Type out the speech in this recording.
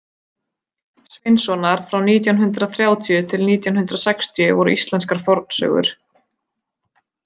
Sveinssonar frá nítján hundrað þrjátíu til nítján hundrað sextíu voru íslenskar fornsögur.